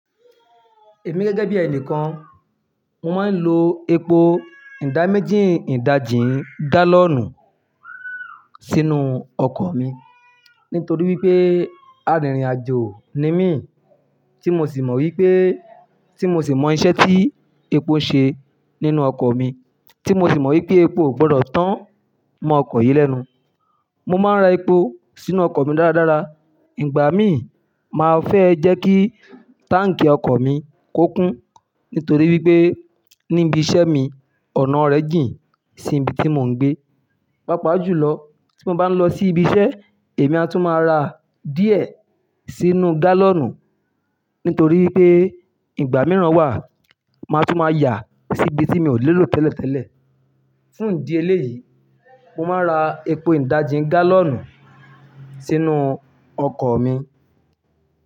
Èmi gẹ́gẹ́ bí ẹni kan, mo máa ń lo epo ìda méjì ìdajì gálọ̀nù sínú ọkọ̀ mi. Nítorí wípé arìnrìn-àjò ni mí tí mo sì mọ wípé, tí mo sì mọ iṣẹ́ tí epo ṣe nínú ọkọ̀ mi, tí mo sì mọ wípé epo ò gbọdọ̀ tán mọ ọkọ̀ yìí lẹ́nu. Mo máa ń ra epo sínú ọkọ̀ mi dáradára. Ìgbà mí, màá fẹ́ jẹ́ kí táǹkì ọkọ̀ mi kó kún. Nítorí wípé níbi iṣẹ́ mi, ọ̀nà rẹ̀ jìn sí ibi tí mò ń gbé. Pápá jù lọ tí mo bá ń lọ sí ibi iṣẹ́, èmi a tún máa ra díẹ̀ sínú gálọ̀nù. Nítorí wípé ìgbà mìíràn wà máa tún máa yà sí ibi tí mi ò lè lò tẹ́lẹ̀tẹ́lẹ̀. Fún ìdí eléyìí, mo máa ń ra epo ìdajì gálọ̀nù sínú ọkọ̀ mi.